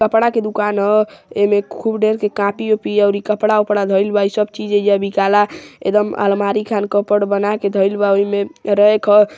कपडा के दुकान ह एमें खूब ढेर के कॉपी ओपी अउरी कपडा वपडा धइल बा इ सब चीज ऐइजा बिकाला एकदम अल्मारी खान कप्बोर्ड बना के धइल बा ओहि में इ रैक ह |